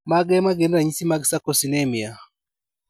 Mage magin ranyisi mag Sarcosinemia?